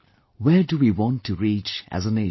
Where do we want to reach as a nation